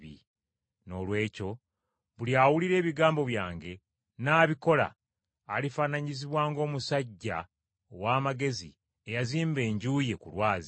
“Noolwekyo buli awulira ebigambo byange, n’abikola, alifaananyizibwa ng’omusajja ow’amagezi eyazimba enju ye ku lwazi.